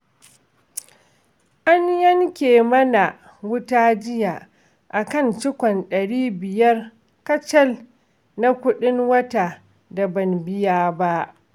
An yanke mana wuta jiya, a kan cikon ɗari biyar kacal na kuɗin wuta da ban biya ba